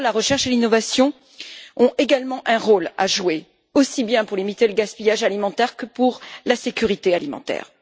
Par ailleurs, la recherche et l'innovation ont également un rôle à jouer, aussi bien pour limiter le gaspillage alimentaire que pour la sécurité alimentaire.